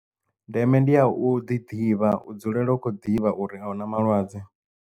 Ndeme ndi ya u ḓi ḓivha u dzulela ukho ḓivha uri auna malwadze.